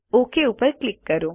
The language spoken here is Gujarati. ઓક ઉપર ક્લિક કરો